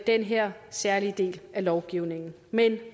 den her særlige del af lovgivningen vil